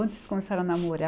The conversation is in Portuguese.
Onde vocês começaram a namorar?